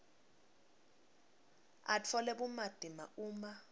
atfole bumatima uma